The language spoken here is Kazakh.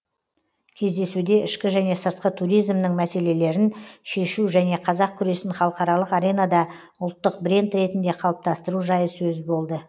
кездесуде ішкі және сыртқы туризмнің мәселелерін шешу және қазақ күресін халықаралық аренада ұлттық бренд ретінде қалыптастыру жайы сөз болды